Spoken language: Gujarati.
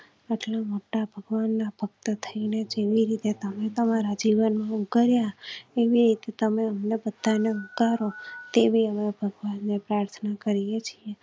મોટા ભગવાન ના ભક્ત થઈ ને જેવી રીતે તમે તમારા જીવન કર્યા ટીવી તમ ને બતાવી ને કરો તેવી ભગવાન ને પ્રાર્થના કરીએ છીએ